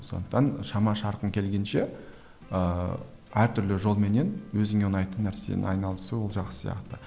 сондықтан шама шарқың келгенше ыыы әр түрлі жолменен өзіңе ұнайтын нәрсені айналысу ол жақсы сияқты